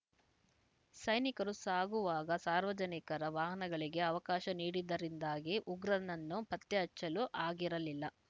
ಸೈನಿಕರು ಸಾಗುವಾಗ ಸಾರ್ವಜನಿಕರ ವಾಹನಗಳಿಗೆ ಅವಕಾಶ ನೀಡಿದ್ದರಿಂದಾಗಿ ಉಗ್ರನನ್ನು ಪತ್ತೆ ಹಚ್ಚಲು ಆಗಿರಲಿಲ್ಲ